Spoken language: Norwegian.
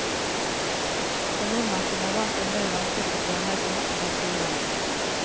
For nordmenn som er vant til mer langsiktig planlegging, er dette uvant.